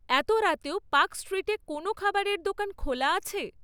এত রাতেও পার্ক স্ট্রিটে কোনও খাবারের দোকান খোলা আছে?